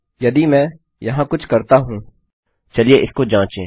यदि मैं यहाँ कुछ करता हूँ चलिए इसको जाँचें